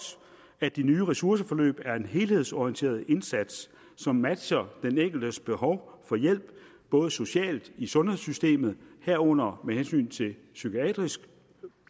at de nye ressourceforløb er en helhedsorienteret indsats som matcher den enkeltes behov for hjælp både socialt i sundhedssystemet herunder med hensyn til psykiatrisk